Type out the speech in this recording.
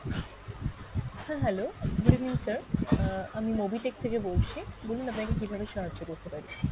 sir hello, good evening sir, আহ আমি mobitech থেকে বলছি, বলুন আপনাকে কীভাবে সাহায্য করতে পারি?